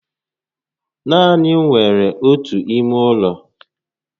Naani m nwe ọtu ime ụlọ